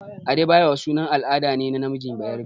Adebayo sunan al'ada ne na namiji bayarabe.